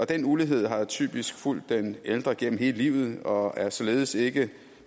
den ulighed har typisk fulgt den ældre gennem hele livet og er således ikke